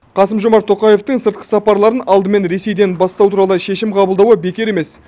қасым жомарт тоқаевтың сыртқы сапарларын алдымен ресейден бастау туралы шешім қабылдауы бекер емес